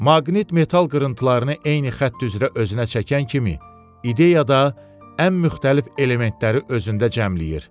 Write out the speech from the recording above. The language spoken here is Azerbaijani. Maqnit metal qırıntılarını eyni xətt üzrə özünə çəkən kimi, ideyada ən müxtəlif elementləri özündə cəmləyir.